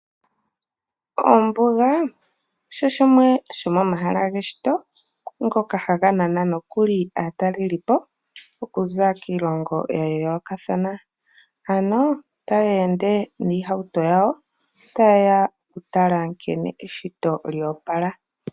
Ombuga osho shimwe shomomahala geshito ngoka haga nana nokuli aataleli po okuza kiilongo yayoolokathana, ano taya ende niihauto yawo tayeya okutala nkene eshito lyoopala.